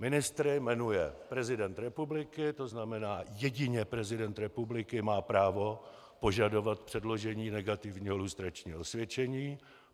Ministry jmenuje prezident republiky, to znamená, jedině prezident republiky má právo požadovat předložení negativního lustračního osvědčení.